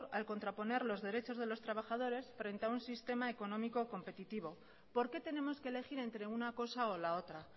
al contraponer los derechos de los trabajadores frente a un sistema económico competitivo por qué tenemos que elegir entre una cosa o la otra